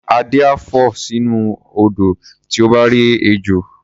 Adé á fò sínú odò tí ó bá rí ejò.